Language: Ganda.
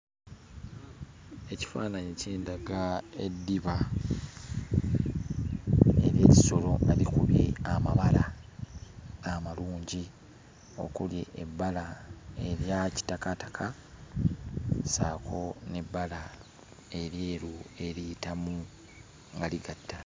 Ekifaananyi kindaga eddiba ery'ekisolo nga likubye amabala amalungi, okuli ebbala erya kitakaataka ssaako n'ebbala eryeru eriyitamu nga ligatta.